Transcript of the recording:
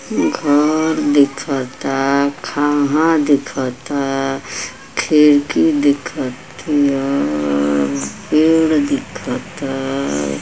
घर दिखता खाम्हा दिखता खिड़की दिखतिया पेड़ दिखता।